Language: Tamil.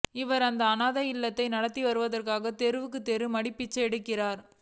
இவர் அந்த அனாதை இல்லத்தை நடத்துவதற்காக தெருத் தெருவாக மடிப்பிச்சை ஏந்துகிறார்